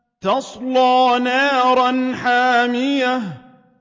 تَصْلَىٰ نَارًا حَامِيَةً